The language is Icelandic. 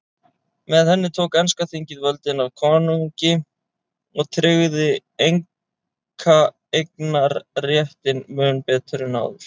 Með henni tók enska þingið völdin af konungi og tryggði einkaeignarréttinn mun betur en áður.